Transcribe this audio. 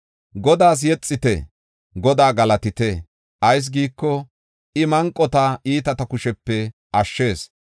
Godaas yexite! Godaa galatite! ayis giiko, I manqota iitata kushepe ashshees.